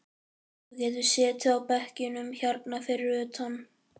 Þú getur setið á bekkjunum hérna fyrir utan.